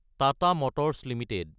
Tata Motors Ltd